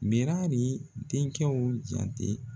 Birali denkɛw jante